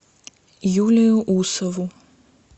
юлию усову